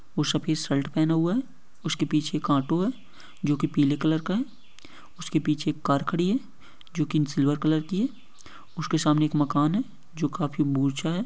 वो सफेद शर्ट पहना हुआ है उसके पीछे एक ऑटो है जो कि पीले कलर का है। उसके पीछे एक कार खड़ी है जो कि सिल्वर कलर की है। उसके सामने एक मकान है जो काफी ऊंचा है।